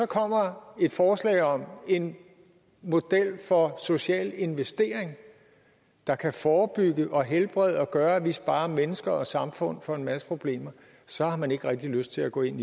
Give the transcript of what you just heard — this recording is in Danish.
kommer et forslag om en model for social investering der kan forebygge og helbrede og gøre at vi sparer mennesker og samfund for en masse problemer så har man ikke rigtig lyst til at gå ind